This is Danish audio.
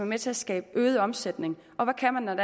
med til at skabe øget omsætning og hvad kan man